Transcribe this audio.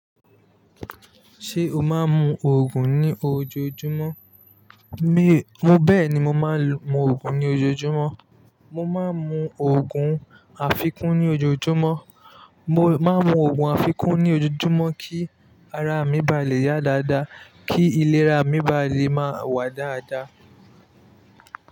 Ṣé o máa ń mu Ògùn ní ojoojúmọ́? Mi, bẹ́ẹ̀ni mo máa ń mu Ògùn ní ojoojúmọ́. Mo máa ń mu Ògùn àfikún ní ojoojúmọ́. Mo máa ń mu Ògùn àfikún ní ojoojúmọ́ kí ara mi ba lè yá dáadáa, kí ìlera mi ba lè máa wà dáadáa.